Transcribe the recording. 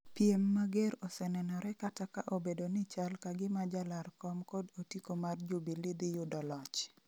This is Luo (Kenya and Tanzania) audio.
piem mager osenenore kata ka obedo ni chal kagima jalar kom kod otiko mar Jubilee dhi yudo loch